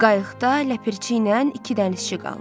Qayıqda ləpərçi ilə iki dənizçi qaldı.